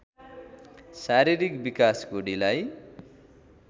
शारीरिक विकासको ढिलाइ